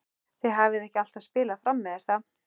Þið hafið ekki alltaf spilað frammi er það?